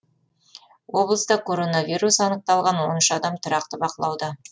облыста коронавирус анықталған он үш адам тұрақты бақылауда